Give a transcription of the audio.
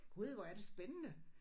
Gud hvor er det spændende